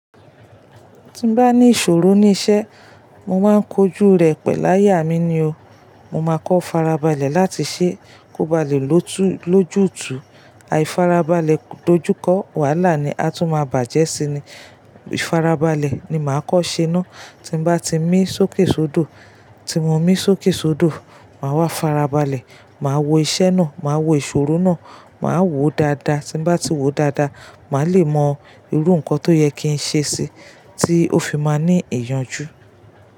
Tí n bá ní ìṣòro ní iṣẹ́, mo máa ń kojú rẹ̀ pẹ̀lú àyà mí ni o. Mo máa kọ́ farabalẹ̀ láti ṣe kó ba lè lòtú lójútùú. Ài farabalẹ̀ dojúkọ, wàhálà ni a tún máa bàjẹ́ sí ni. Ifarabalẹ̀ ni màá kọ́ṣe náà tí n bá ti mí sókèsódò. Tí mo mí sókèsódò, màá wá farabalẹ̀, màá wo iṣẹ́ náà, màá wo ìṣòro náà, màá wòó dáadáa. Tí n bá ti wòó dáadáa, màá le mọ irú nǹkan tó yẹ kí n ṣe sí i tí ó fi máa ní ìyànjú.